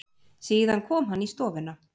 Síðan kom hann í stofuna.